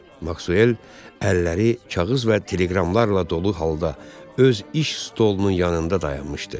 Maksuel əlləri kağız və teleqramlarla dolu halda öz iş stolunun yanında dayanmışdı.